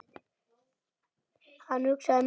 Hann hugsaði málið.